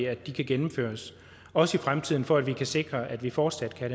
at de kan gennemføres også i fremtiden for at vi kan sikre at vi fortsat kan